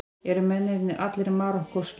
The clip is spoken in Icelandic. Eru mennirnir allir Marokkóskir